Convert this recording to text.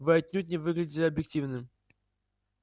вы отнюдь не выглядили объективным